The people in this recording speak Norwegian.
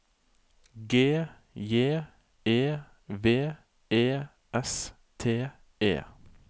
G J E V E S T E